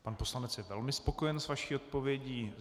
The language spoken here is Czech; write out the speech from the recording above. Pan poslanec je velmi spokojen s vaší odpovědí.